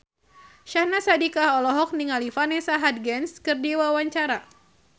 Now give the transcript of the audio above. Syahnaz Sadiqah olohok ningali Vanessa Hudgens keur diwawancara